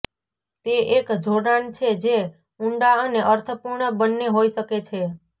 તે એક જોડાણ છે જે ઊંડા અને અર્થપૂર્ણ બંને હોઈ શકે છે